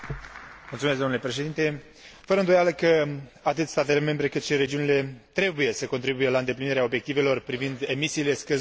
Fără îndoială, atât statele membre, cât și regiunile trebuie să contribuie la îndeplinirea obiectivelor privind emisiile scăzute de carbon până în